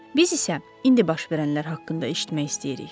Biz isə indi baş verənlər haqqında eşitmək istəyirik.